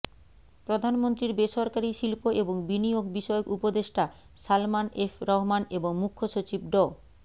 প্রধানমন্ত্রীর বেসরকারী শিল্প এবং বিনিয়োগ বিষয়ক উপদেষ্টা সালমান এফ রহমান এবং মুখ্য সচিব ড